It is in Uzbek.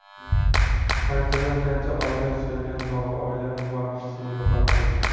Qanchadan-qancha oila suyangan tog‘i, oila boshisini yo‘qotdi.